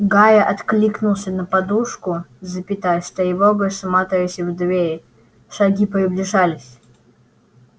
гарри откинулся на подушку с тревогой всматриваясь в дверь шаги приближались